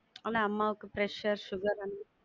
அம்மாவுக்கு pressure, sugar அந்த~